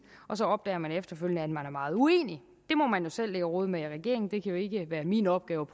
og så opdager man efterfølgende at man er meget uenig det må man jo selv ligge og rode med i regeringen det kan jo ikke være min opgave